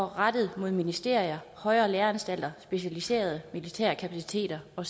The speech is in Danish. rettet mod ministerier højere læreanstalter specialiserede militære kapaciteter og